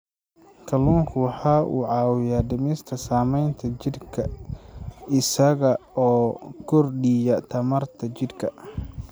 Kalluunku waxa uu caawiyaa dhimista saamaynta daalka jidhka isaga oo kordhiya tamarta jidhka.